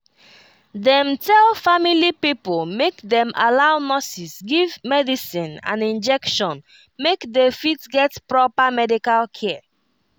dem tell family pipo make dem allow nurses give medicine and injection make dey fit get proper medical care